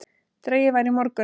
Dregið var í morgun